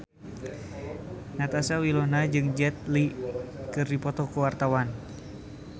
Natasha Wilona jeung Jet Li keur dipoto ku wartawan